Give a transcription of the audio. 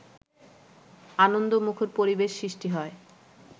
আনন্দমুখর পরিবেশ সৃষ্টি হয়